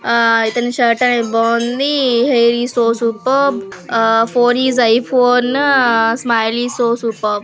ఆ ఇతని షర్ట్ అనేది బాగుంది. Hair is so super phone is iPhone smile is so super